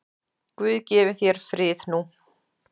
Guð gefi þér frið nú.